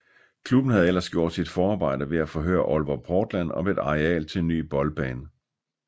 Klubben havde ellers gjort sit forarbejde ved at forhøre Aalborg Portland om et areal til en ny boldbane